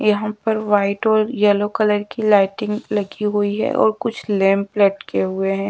यहाँ पर व्हाइट और येलो कलर की लाइटिंग लगी हुई है और कुछ लैंप लटके हुए हैं।